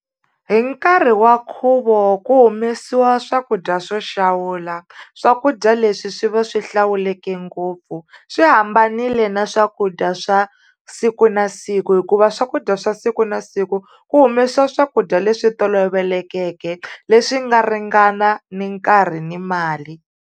Hi nkarhi wa nkhuvo ku humesiwa swakudya swo xawula, swakudya leswi swi va swi hlawuleke ngopfu swi hambanile na swakudya swa siku na siku hikuva swakudya swa siku na siku, ku humesiwa swakudya leswi tolovelekeke leswi nga ringana ni nkarhi ni mali.